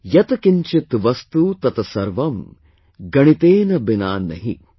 यत किंचित वस्तु तत सर्वं, गणितेन बिना नहि